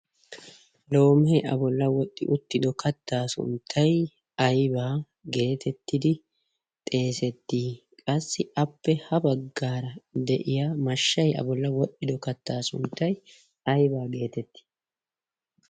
lomehee aboyla wodxi uttido kattaa sunttay aybaa geetettidi xeesettii qassi appe ha baggaara de'iya mashshay abolla wodhdhido kattaa sunttay aybaa geetettii ?